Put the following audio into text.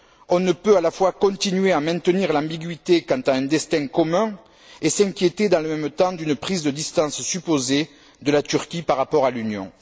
On ne peut à la fois continuer à maintenir l'ambiguïté quant à un destin commun et s'inquiéter, dans le même temps, d'une prise de distance supposée de la Turquie par rapport à l'Union.